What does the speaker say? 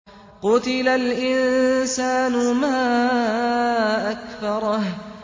قُتِلَ الْإِنسَانُ مَا أَكْفَرَهُ